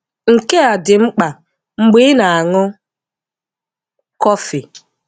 Nke a dị mkpa mgbe ị na-aṅụ kọfị.